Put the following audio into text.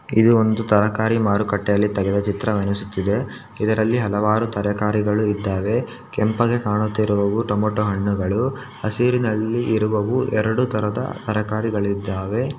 ಇದು ಒಂದು ತರಕಾರಿ ಮಾರುಕಟ್ಟೆಯಲ್ಲಿ ತೆಗೆದ ಚಿತ್ರವೆನಿಸುತ್ತಿದೆ ಇದರಲ್ಲಿ ಹಲವಾರು ತರಕಾರಿಗಳು ಇದ್ದಾವೆ ಕೆಂಪಗೆ ಕಾಣುತ್ತಿರುವವು ಟಮೋಟ ಹಣ್ಣುಗಳು ಹಸಿರಿನಲ್ಲಿ ಇರುವವು ಎರಡು ತರಹದ ತರಕಾರಿಗಳಿದ್ದಾವೆ .